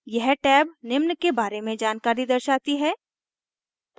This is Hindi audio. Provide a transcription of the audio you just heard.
यह टैब निम्न के बारे में जानकारी दर्शाती है